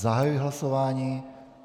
Zahajuji hlasování.